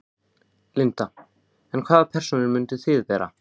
Linda: En hvaða persónur myndið þið vera?